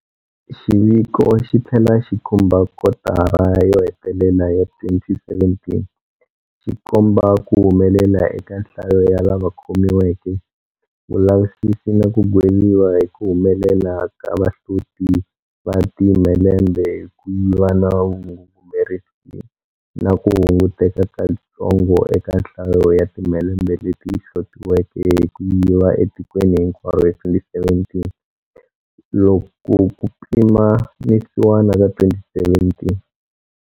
Xiviko xi tlhela xi khumba kotara yo hetelela ya 2017, xi komba ku humelela eka nhlayo ya lava khomiweke, vulavisisi na ku gweviwa hi ku humelela ka vahloti va timhelembe hi ku yiva na vangungumerisi na ku hunguteka katsongo eka nhlayo ya timhelembe leti hlotiweke hi ku yiviwa etikweni hinkwaro hi 2017 loko ku pimanisiwa na 2016.